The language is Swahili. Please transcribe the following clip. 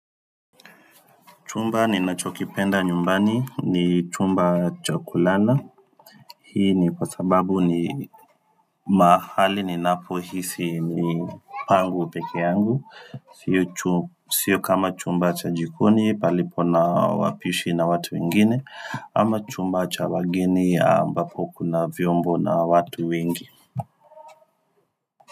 Chumba ninachokipenda nyumbani ni chumba chakulana, hii ni kwasababu ni mahali ninapohisi ni pangu pekee yangu, sio kama chumba cha jikoni palipo na wapishi na watu wengine, ama chumba cha wageni ambapo kuna vyombo na watu wengi.